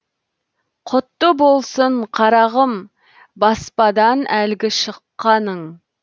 құтты болсын қарағым баспадан әлгі шыққаның